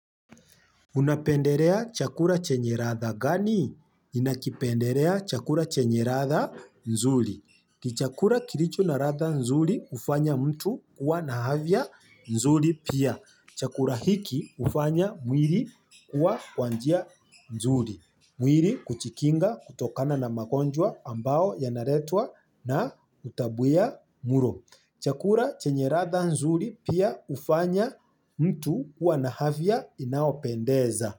Unapendelea chakula chenye ladha gani ninakipenderea chakula chenye ladha nzuri. Chakula kilicho na ladha nzuri hufanya mtu kuwa na afya nzuri pia. Chakula hiki hufanya mwili kukua kwa njia nzuri. Mwili kujikinga kutokana na magonjwa ambayo yanaletwa na utapia mlo. Chakula chenye ladha nzuri pia hufanya mtu kuwa na afya inayopendeza.